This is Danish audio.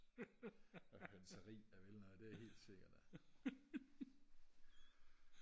og hønseri der vil noget det er helt sikkert da